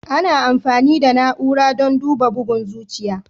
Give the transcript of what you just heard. Ana amfani da na'ura don duba bugun zuciya.